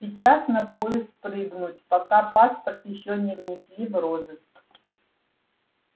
сейчас на поезд прыгнуть пока паспорт ещё не внесли в розыск